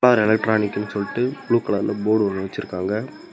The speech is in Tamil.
சோலார் எலக்ட்ரானிக்னு சொல்லிட்டு ப்ளூ கலர்ல போர்டு ஒன்னு வச்சிருக்காங்க.